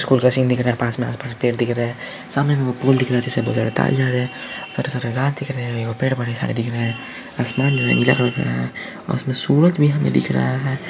School का scene दिख रहा है पास में आस-पास पेड़ दिख रहा है सामने पुल दिख रह है जिस जा रहे है सारे सारे रात दिख रहे है यो पेड़ बारे सारे दिख रहे है आसमान जो इनके यहाँ पे है अ ओर उसमें सूरज भी हमे दिख रहा है।